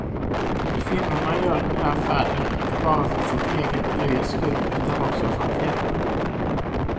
Kvinnorna gör den här färden inte bara för sitt eget nöjes skull, utan också för att hjälpa.